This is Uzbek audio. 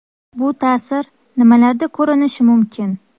Bu ta’sir nimalarda ko‘rinishi mumkin?